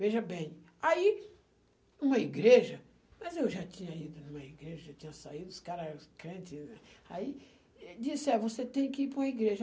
Veja bem, aí uma igreja, mas eu já tinha ido numa igreja, já tinha saído, os caras, os crentes, aí disse, é, você tem que ir para uma igreja.